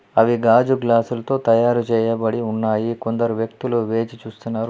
అవి గాజు గ్లాసులతో తయారు చేయబడి ఉన్నాయి కొందరు వ్యక్తులు వేచి చూస్తున్నారు.